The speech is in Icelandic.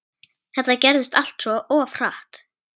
Þetta gerðist allt of hratt.